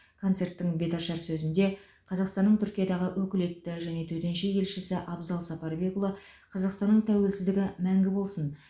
концерттің беташар сөзінде қазақстанның түркиядағы өкілетті және төтенше елшісі абзал сапарбекұлы қазақстанның тәуелсіздігі мәңгі болсын